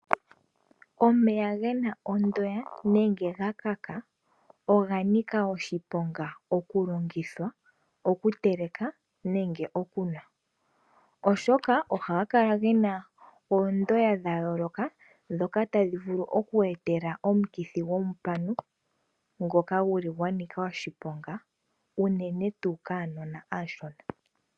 Omeya gena ondoya nenge gakaka oganika oshiponga okuteleka nenge okunwa , oshoka ohaga kala gena oondoya dhayooloka dhoka tadhi vulu okuku etela omukithi gomupanu ngoka guli gwanika oshiponga unene tuu kaanona aashona.